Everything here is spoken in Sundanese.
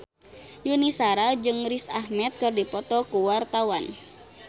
Yuni Shara jeung Riz Ahmed keur dipoto ku wartawan